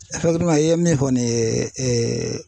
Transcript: i ye min fɔ nin ye